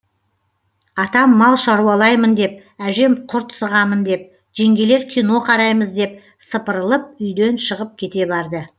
атам мал шаруалаймын деп әжем құрт сығамын деп жеңгелер кино қараймыз деп сыпырылып үйден шығып кете барды